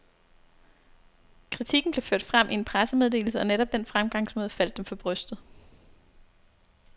Kritikken blev ført frem i en pressemeddelse, og netop den fremgangsmåde faldt dem for brystet.